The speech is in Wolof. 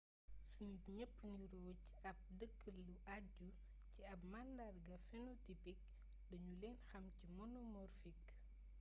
su nit ñepp niroo ci ab dëkk lu ajju ci ab màndarga phenotipik dañu leen xam ci monomorfik